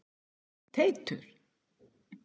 Teitur